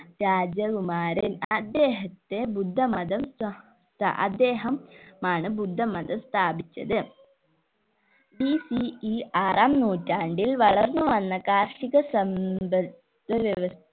രാജകുമാരൻ അദ്ദേഹത്തെ ബുദ്ധമതം സ ഏർ അദ്ദേഹം ആണ് ബുദ്ധമതം സ്ഥാപിച്ചത് BCE ആറാം നൂറ്റാണ്ടിൽ വളർന്ന് വന്ന കാർഷിക സമ്പത്ത് വ്യവസ്‌